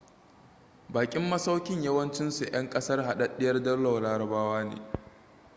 bakin masaukin yawancinsu 'yan kasar hadaddiyar daular larabawa ne